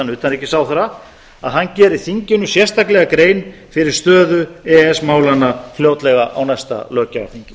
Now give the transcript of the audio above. utanríkisráðherra að hann geri þinginu sérstaklega grein fyrir stöðu e e s málanna fljótlega á næsta löggjafarþingi